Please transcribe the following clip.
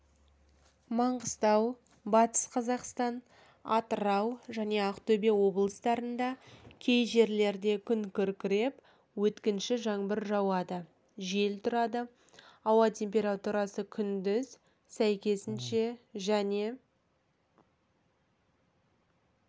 маңғыстау батыс қазақстан атырау және ақтөбе облыстарында кей жерлерде күн күркіреп өткінші жаңбыр жауады жел тұрады ауа температурасы күндіз сәйкесінше және